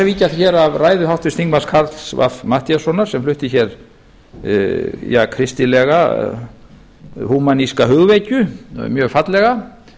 víkja hér að ræðu háttvirts þingmanns karls fimmta matthíassonar sem flutti hér kristilega húmaníska hugvekju mjög fallega